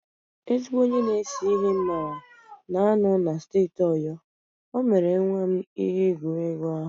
Ezigbo onye na-ese ihe m maara na-anọ na steeti Oyo, o mere nwa m ihe egwuregwu ahụ